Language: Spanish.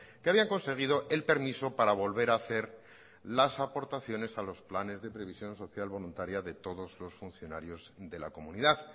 que habían conseguido el permiso para volver a hacer las aportaciones a los planes de previsión social voluntaria de todos los funcionarios de la comunidad